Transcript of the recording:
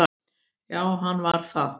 Jú, hann var það.